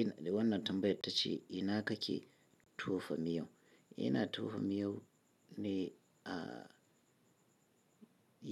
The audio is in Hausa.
Ina dai, wannan tambayar ta ce ina kake tofa miyo? Ina tofa miyau ne a